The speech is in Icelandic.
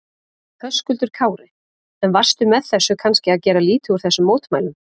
Höskuldur Kári: En varstu með þessu kannski að gera lítið úr þessum mótmælum?